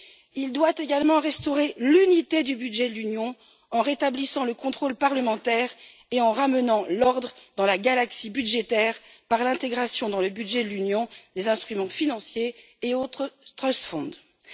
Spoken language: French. Il doit également restaurer l'unité du budget de l'Union en rétablissant le contrôle parlementaire et en ramenant l'ordre dans la galaxie budgétaire par l'intégration dans le budget de l'Union des instruments financiers et autres fonds fiduciaires.